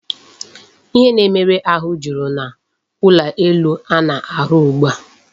Ihe na-emere ahụ jụrụ n'ulo elu a na-arụ ugbu a.